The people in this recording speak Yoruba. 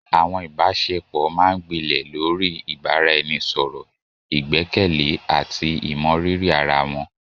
Àwọn ìbáṣepọ̀ máa ń gbilẹ̀ lórí ìbáraẹnisọ̀rọ̀, ìgbẹ́kẹ̀lé, àti ìmọrírì ara wọn.